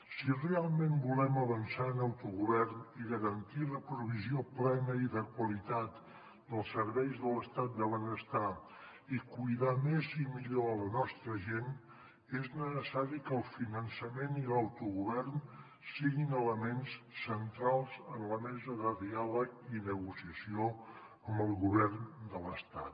si realment volem avançar en autogovern i garantir la provisió plena i de qualitat dels serveis de l’estat de benestar i cuidar més i millor la nostra gent és necessari que el finançament i l’autogovern siguin elements centrals en la mesa de diàleg i negociació amb el govern de l’estat